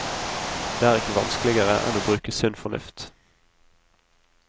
Det er ikke vanskeligere enn å bruke sunn fornuft.